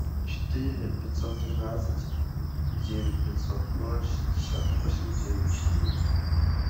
четыре пятьсот тринадцать девять пятьсот ноль шестьдесят восемь девять четыре